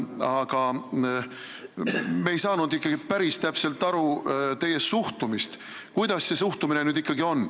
Aga me ei saanud päris täpselt aru, milline teie suhtumine ikkagi on.